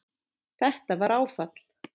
Þetta var áfall